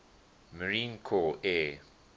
marine corps air